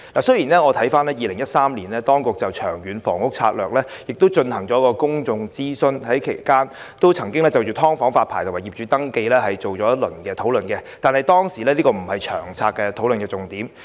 雖然當局在2013年曾就《長遠房屋策略》進行公眾諮詢，而其間亦曾就"劏房"發牌及業主登記進行討論，但這並非當時相關策略的討論重點。